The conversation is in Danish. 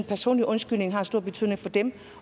personlig undskyldning har stor betydning for dem